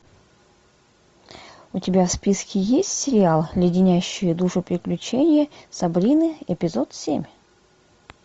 у тебя в списке есть сериал леденящие душу приключения сабрины эпизод семь